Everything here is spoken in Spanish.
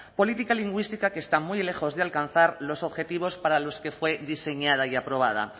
política lingüística que está muy lejos de alcanzar los objetivos para los que fue diseñada y aprobada